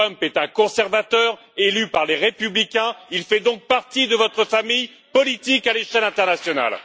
Trump est un conservateur élu par les Républicains, il fait donc partie de votre famille politique à l'échelle internationale.